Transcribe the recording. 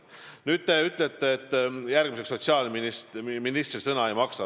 Nüüd, te ütlete, et sotsiaalministri sõna ei maksa.